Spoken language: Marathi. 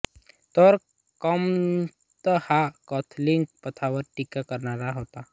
तर कॉम्त हा कॅथलिक पंथावर टीका करणारा होता